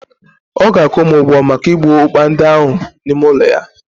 ọ ga-akwụ m ụgwọ maka igbu ọkpa ndị ahụ n'ime ụlọ ya